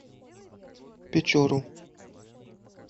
печору